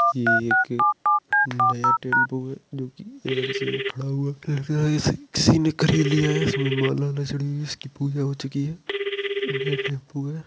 यह एक नया टेंपू है जोकि एजेंसी में खड़ा हुआ है लगता है इसे किसी ने खरीद लिया है इसमें माला वाला चढ़ी हुइ है। इसकी पूजा हो चुकी है। नया टेंपू है।